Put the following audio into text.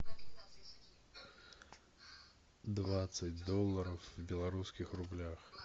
двадцать долларов в белорусских рублях